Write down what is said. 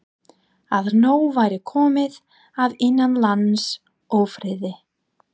Að nóg væri komið af innanlandsófriði.